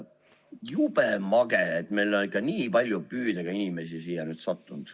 Jube mage, et meil on ikka nii palju püüdega inimesi siia nüüd sattunud.